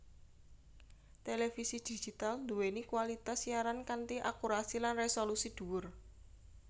Télévisi Digital duwéni kualitas siaran kanthi akurasi lan resolusi duwur